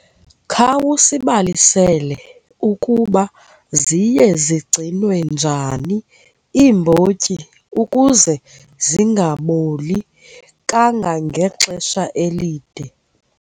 Khawusibalisele ukuba ziye zigcinwe njani iimbotyi ukuze zingaboli kangangexesha elide.